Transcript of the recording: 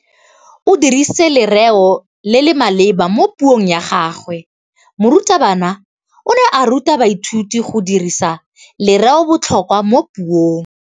O dirisitse lerêo le le maleba mo puông ya gagwe. Morutabana o ne a ruta baithuti go dirisa lêrêôbotlhôkwa mo puong.